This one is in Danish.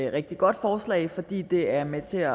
et rigtig godt forslag fordi det er med til